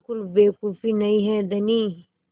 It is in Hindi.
बिल्कुल बेवकूफ़ी नहीं है धनी